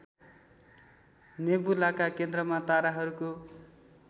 नेबुलाका केन्द्रमा ताराहरूको